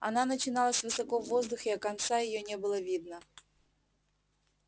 она начиналась высоко в воздухе а конца её не было видно